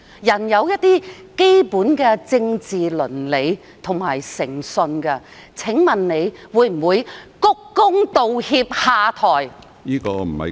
人應當顧及基本的政治倫理和具有誠信，請問你會否鞠躬、道歉、下台？